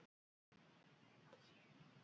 Sunna: Hvaða leiki eruð þið að fara í?